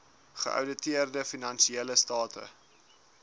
geouditeerde finansiële state